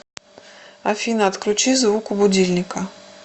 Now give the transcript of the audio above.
афина отключи звук у будильника